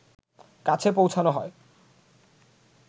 কাছে পৌঁছানো হয়